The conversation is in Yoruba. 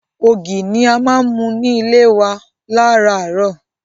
Ògì ni a máa ń mu ní ilé wa láràárọ̀.